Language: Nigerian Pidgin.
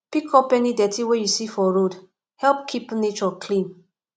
pick up any dirty wey you see for road help keep nature clean